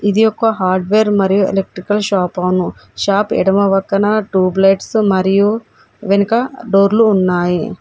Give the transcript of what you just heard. ఇది ఒక హార్డ్వేర్ మరియు ఎలక్ట్రికల్ షాప్ ఆను షాప్ ఎడమ పక్కన ట్యూబ్ లైట్స్ మరియు వెనుక డోర్లు ఉన్నాయి.